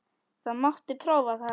Það mátti prófa það.